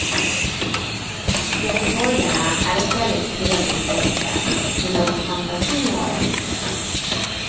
Göteborgarna är ett väldigt trevligt släkte, men någon fantasi har de inte.